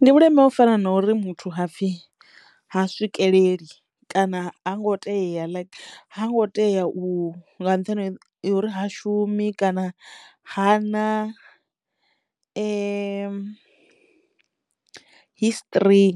Ndi vhuleme ho u fana na uri muthu ha pfhi ha swikeleli kana ha ngo teya like ha ngo teya u nga nṱhani ha uri ha shumi kana hana history